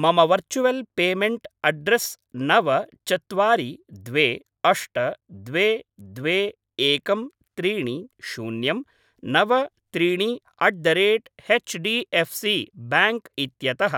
मम virtual payment address नव चत्वारि द्वे अष्ट द्वे द्वे एकं त्रीणि शून्यं नव त्रीणि at the rate HDFC bank इत्यतः